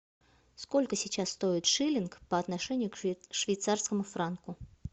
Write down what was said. сколько сейчас стоит шиллинг по отношению к швейцарскому франку